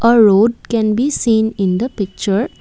a road can be seen in the picture.